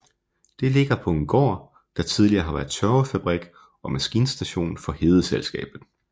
Det ligger på en gård der tidligere har været tørvefabrik og maskinstation for Hedeselskabet